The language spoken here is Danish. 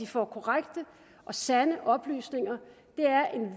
får korrekte og sande oplysninger er en